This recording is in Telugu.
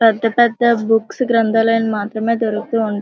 పెద్ద పెద్ద బుక్స్ గ్రంధాలయం లో మాత్రమే దొరుకుతూ ఉం --